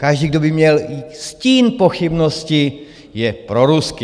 Každý, kdo by měl stín pochybnosti, je proruský.